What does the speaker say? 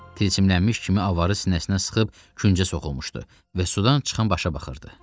Tilçimlənmiş kimi avarı sinəsinə sıxıb küncə soxulmuşdu və sudan çıxan başa baxırdı.